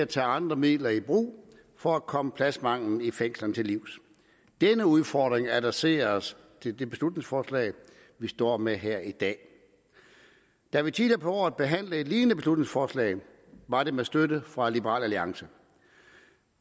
tager andre midler i brug for at komme pladsmangelen i fængslerne til livs denne udfordring adresseres i det beslutningsforslag vi står med her i dag da vi tidligere på året behandlede et lignende beslutningsforslag var det med støtte fra liberal alliance